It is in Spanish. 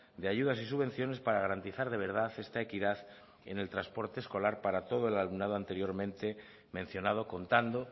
de ayudas y subvenciones para garantizar de verdad esta equidad en el transporte escolar para todo el alumnado anteriormente mencionado contando